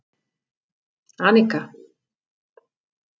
Annika